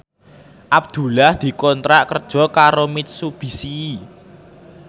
Abdullah dikontrak kerja karo Mitsubishi